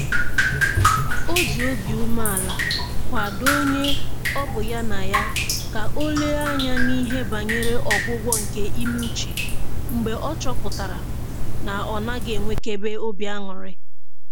O ji obi umeala kwadoo onye ọ bụ ya na ya ka o lenye anya n'ihe banyere ọgwụgwọ nke ime uche mgbe ọ chọpụtara na ọ naghị enwekebe obi aṅụrị